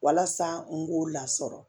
Walasa n k'o lasɔrɔ